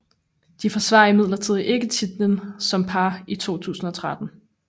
De forsvarer imidlertid ikke titlen som par i 2013